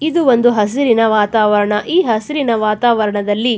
ಇದು ಒಂದು ಹಸಿರಿನ ವಾತಾವರಣ ಈ ಹಸಿರಿನ ವಾತಾವರಣದಲ್ಲಿ --